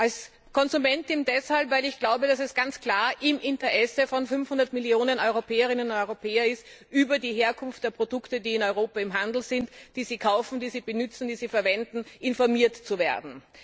Als Konsumentin deshalb, weil ich glaube, dass es ganz klar im Interesse von 500 Millionen Europäerinnen und Europäern ist, über die Herkunft der Produkte, die in Europa im Handel sind und die sie kaufen, benützen und verwenden, informiert zu werden.